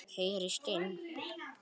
Heyrist enn.